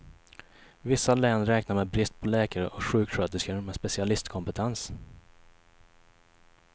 Vissa län räknar med brist på läkare och sjuksköterskor med specialistkompetens.